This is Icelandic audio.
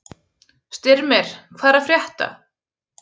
Styrmir, hvað er að frétta?